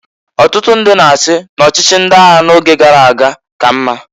Ọtụtụ ndị na-asị n'ọchịchị ndị agha n'oge gara aga ka mma.